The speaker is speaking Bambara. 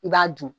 I b'a dun